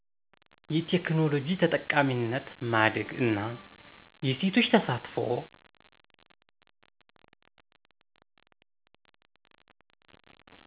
የቴክኖሎጂ ተጠቃሚነት ማደግ እና የሴቶች ተሳትፎ